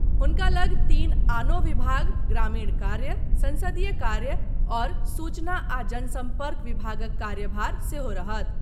हुनका लऽग तीन आनो विभाग ग्रामीण कार्य, संसदीय कार्य आओर सूचना आ जनसम्पर्क विभागक कार्यभार सेहो रहत।